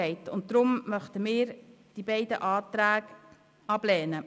Deswegen werden wir die beiden Anträge ablehnen.